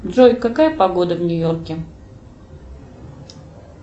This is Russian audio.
джой какая погода в нью йорке